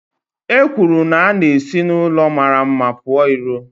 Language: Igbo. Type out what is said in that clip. E kwuru na a na-esi n'ụlọ mara mma pụọ ìró